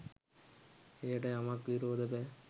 එයට යමෙක් විරෝධය පෑ